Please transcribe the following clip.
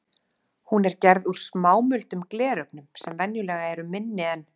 Hún er gerð úr smámuldum glerögnum sem venjulega eru minni en